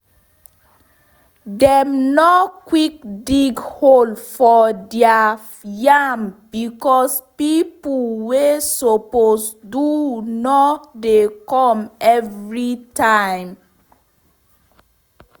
dem nor quick dig hole for deir yam becos pipo wey suppose do nor dey come every time